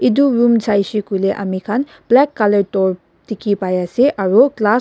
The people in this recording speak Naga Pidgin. etu room sai se koile ami khan black colour tor dikhi pai ase aru glass --